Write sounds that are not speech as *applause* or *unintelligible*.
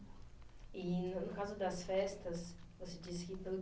E no caso das festas, você disse que *unintelligible*